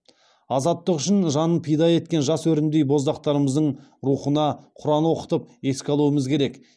азаттық үшін жанын пида еткен жас өрімдей боздақтарымыздың рухына құран оқытып еске алумыз керек